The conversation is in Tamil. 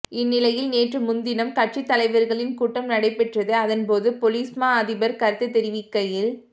இந்நிலையில் நேற்று முந்தினம் கட்சித் தலைவர்களின் கூட்டம் நடைபெற்றது அதன்போது பொலிஸ்மா அதிபர் கருத்துத் தெரிவிக்கையில்